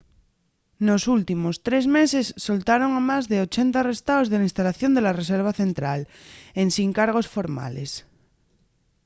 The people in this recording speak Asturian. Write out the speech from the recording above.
nos últimos 3 meses soltaron a más de 80 arrestaos de la instalación de la reserva central ensin cargos formales